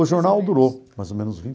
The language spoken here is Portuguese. O jornal durou mais ou menos